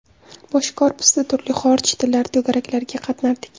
Bosh korpusda turli xorij tillari to‘garaklariga qatnardik.